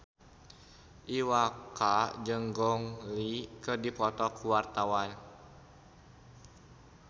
Iwa K jeung Gong Li keur dipoto ku wartawan